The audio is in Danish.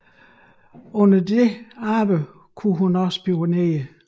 Under dette arbejde kunne hun også spionere